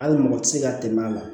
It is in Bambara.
Hali mɔgɔ tɛ se ka tɛmɛ a ma